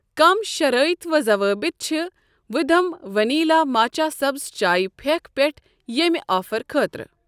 کم شرٲیِط و ضوٲبط چھ وھدم ؤنیٖلا ماچا سبٕز چایہ پھیٚکہ پٮ۪ٹھ ییٚمہ آفر خٲطرٕ؟